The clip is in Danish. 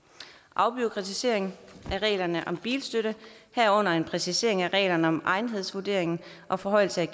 afbureaukratisering af reglerne om bilstøtte herunder præcisering af reglerne om egnethedsvurdering og forhøjelse